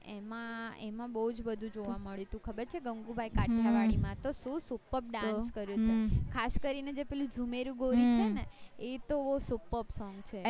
એમાં એમાં બુજ બધું જોવા મળ્યું હતું ખબર છે ગાંગુ બાય કાઠીયાવાડી ની માં તો શું superb dance કર્યો છે ખાસ કરી ને જે પેલું છે નેએ તો બૌ superb song છે